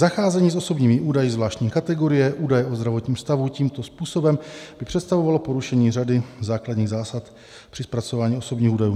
Zacházení s osobními údaji zvláštní kategorie, údaje o zdravotním stavu, tímto způsobem by představovalo porušení řady základních zásad při zpracování osobních údajů.